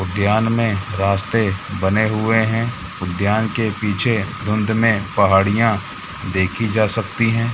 उद्यान मैं रास्ते बने हुए हैं उद्यान के पीछे धुंध में पहाड़ियां देखी जा सकती हैं।